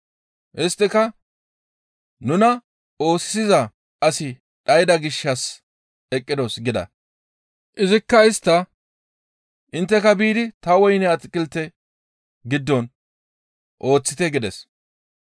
«Isttika, ‹Nuna oosisiza asi dhayda gishshas eqqidos› gida. Izikka istta, ‹Intteka biidi ta woyne atakilte giddon ooththite› gides.